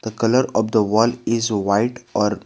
The colour of the wall is white or --